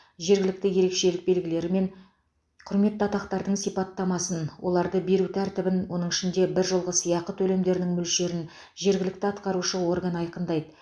жергілікті ерекшелік белгілері мен құрметті атақтардың сипаттамасын оларды беру тәртібін оның ішінде біржолғы сыйақы төлемдерінің мөлшерін жергілікті атқарушы орган айқындайды